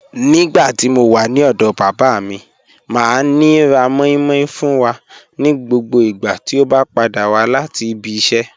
Nígbàtí mó wà ní ọdọ bàbá mi, máa ní rá mòí mòí fún wà ní gbogbo ìgbà tí o bá padà wà láti ìbí ìṣẹ.